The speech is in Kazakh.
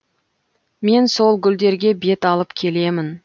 мен сол гүлдерге бет алып келемін